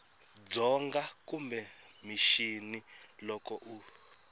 dzonga kumbe mixini loko u